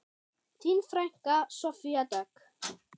Þín frænka, Soffía Dögg.